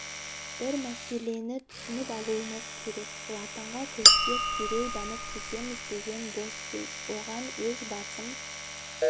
бір мәселені түсініп алуымыз керек латынға көшсек дереу дамып кетеміз деген бос сөз оған өз басым